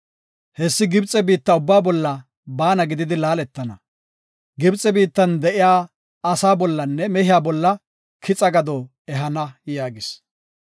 Hessi Gibxe biitta ubbaa bolla baana gididi laaletana. Gibxe biittan de7iya asaa bollanne mehey bolla kixa gado ehana” yaagis.